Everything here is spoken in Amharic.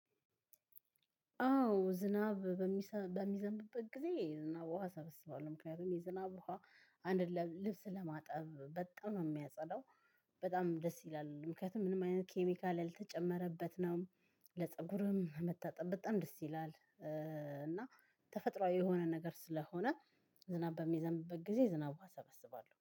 አዎ ዝናብ በሚዘንብበት ጊዜ ዝናብ ውሃ ሰብስባለሁ። ምክንያቱም የዝናብ ውሃ አንድ ልብስ ለማጠብ በጣም ነው የሚያጸዳው። በጣም ደስ ይላል። ምክንያቱም ምንም አይነት ኬሚካል ያልተጨመረበት ነው። ለጸጉርም መታጠብ በጣም ደስ ይላል። እና ተፈጥሯዊ የሆነ ነገር ስለሆነ ዝናብ በሚዘንብበት ጊዜ የዝናብ ውሃ እሰበስባለሁ።